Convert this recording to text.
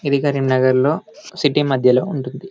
ఇది కరీంనగర్లో సిటీ మధ్యలో ఉంటుంది.